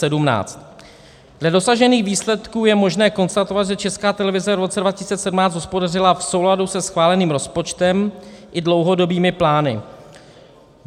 Dle dosažených výsledků je možné konstatovat, že Česká televize v roce 2017 hospodařila v souladu se schváleným rozpočtem i dlouhodobými plány.